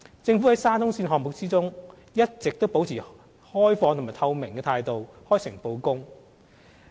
政府在沙中線項目中，一直保持開放和透明的態度，開誠布公。